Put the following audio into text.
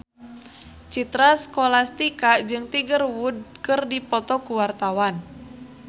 Citra Scholastika jeung Tiger Wood keur dipoto ku wartawan